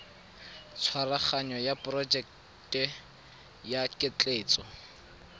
tshwaraganyo ya porojeke ya ketleetso